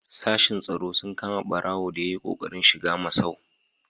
Sashen tsaro sun kama ɓarago da ya yi ƙoƙarin shiga masau.